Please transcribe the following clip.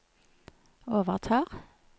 overtar